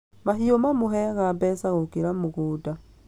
Mahiũ mamũheaga mbeca gũkĩra mũgũnda